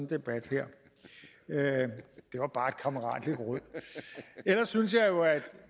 debat her det var bare et kammeratligt råd ellers synes jeg jo at